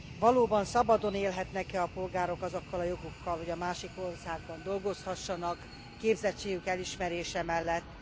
Valóban szabadon élhetnek e a polgárok azokkal a jogokkal, hogy másik országban dolgozhassanak képzettségük elismerése mellett?